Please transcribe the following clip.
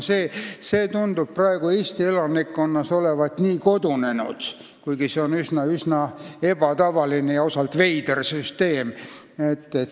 See meetod tundub praegu Eesti elanikkonna seas olevat kodunenud, kuigi see on üsna ebatavaline ja osalt veider süsteem.